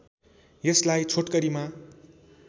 यसलाई छोटकरीमा